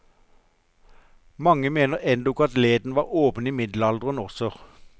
Mange mener endog at leden var åpen i middelalderen også.